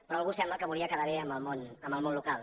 però algú sembla que volia quedar bé amb el món local